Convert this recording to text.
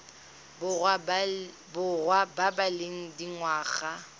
borwa ba ba leng dingwaga